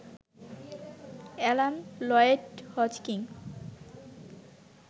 Alan Lloyd Hodgkin